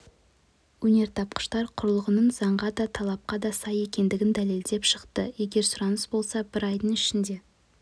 өнертапқыштар құрылғының заңға да талапқа да сай екендігін дәлелдеп шықты егер сұраныс болса бір айдың ішінде